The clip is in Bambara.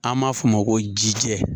An b'a f'o ma ko ji jɛ